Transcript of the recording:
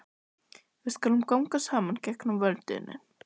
Við skulum ganga saman gegnum vötnin